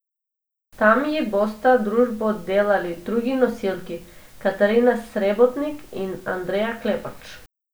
Tam ji bosta družbo delali drugi nosilki, Katarina Srebotnik in Andreja Klepač.